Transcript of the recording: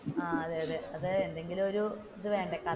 ആഹ് അതെ അതെ എന്തെങ്കിലും ഒരു ഇത് വേണ്ടേ.